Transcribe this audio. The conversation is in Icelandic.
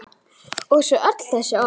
Kalla á mömmur okkar?